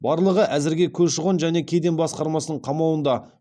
барлығы әзірге көші қон және кеден басқармасының қамауында